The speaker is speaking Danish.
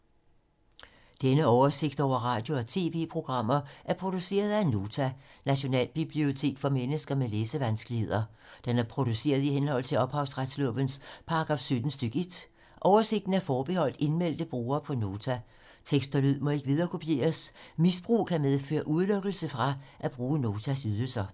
Denne oversigt over radio og TV-programmer er produceret af Nota, Nationalbibliotek for mennesker med læsevanskeligheder. Den er produceret i henhold til ophavsretslovens paragraf 17 stk. 1. Oversigten er forbeholdt indmeldte brugere på Nota. Tekst og lyd må ikke viderekopieres. Misbrug kan medføre udelukkelse fra at bruge Notas ydelser.